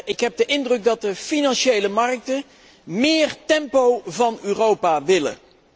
Ik heb de indruk dat de financiële markten meer tempo van Europa willen.